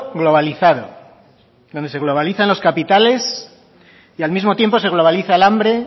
globalizado donde se globalizan los capitales y al mismo tiempo se globaliza el hambre